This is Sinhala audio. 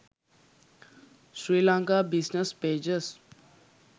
sri lanka business pages